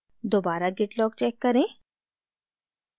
दोबारा git log check करें